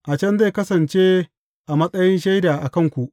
A can zai kasance a matsayin shaida a kanku.